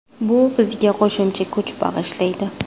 Bu bizga qo‘shimcha kuch bag‘ishlaydi.